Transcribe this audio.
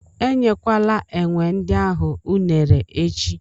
E nyekwala enwe ndị ahụ unere echi!